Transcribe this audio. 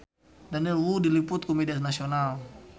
Daniel Wu diliput ku media nasional